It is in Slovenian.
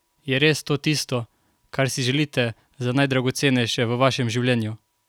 Je res to tisto, kar si želite za najdragocenejše v vašem življenju?